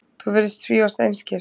Þú virðist svífast einskis.